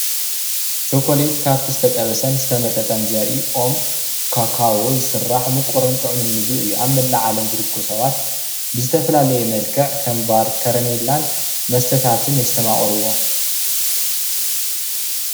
እዚ ምስሊ ካብ ተኽሊ ካካዎ ዝስራሕ ቸኮሌት ይበሃል።